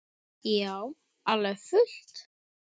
Já, alveg fullt.